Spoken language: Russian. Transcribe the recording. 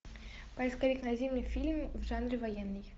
поисковик найди мне фильм в жанре военный